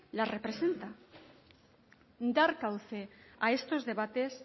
les representa dar cauce a estos debates